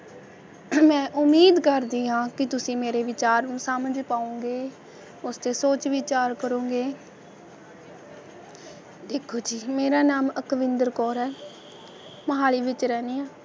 ਮੈ ਉਮੀਦ ਕਰਦੀ ਆ ਕਿ ਤੁਸੀਂ ਮੇਰੇ ਵਿਚਾਰ ਨੂੰ ਸਮਝ ਪਾਉਂਗੇ, ਉਸ 'ਤੇ ਸੋਚ ਵਿਚਾਰ ਕਰੋਂਗੇ ਦੇਖੋ ਜੀ ਮੇਰਾ ਨਾਮ ਅਕਵਿੰਦਰ ਕੌਰ ਹੈ, ਮੋਹਾਲੀ ਵਿਚ ਰਹਿੰਦੀ ਆ,